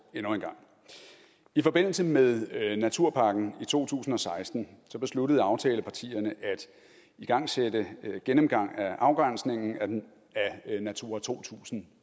endnu en gang i forbindelse med naturpakken i to tusind og seksten besluttede aftalepartierne at igangsætte en gennemgang af afgrænsningen af natura to tusind